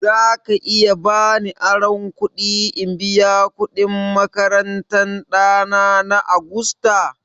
Za ka iya ba ni aron kuɗi in biya kuɗin makarantan ɗana na Agusta?